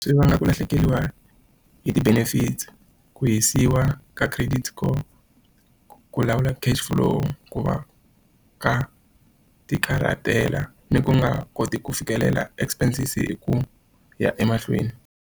Swi vanga ku lahlekeriwa hi ti-benefits, ku hisiwa ka credit score, ku lawula cash flow, ku va ka ti karhatela, ni ku nga koti ku fikelela expenses hi ku ya emahlweni.